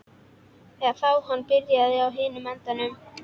Eða þá hann byrjaði á hinum endanum.